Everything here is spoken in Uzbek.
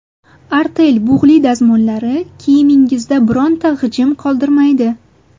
Artel bug‘li dazmollari kiyimingizda bironta g‘ijim qoldirmaydi!